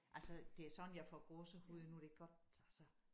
Altså det er sådan jeg får gåsehud nu det godt altså